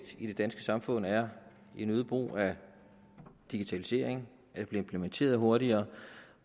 i det danske samfund er en øget brug af digitalisering at det bliver implementeret hurtigere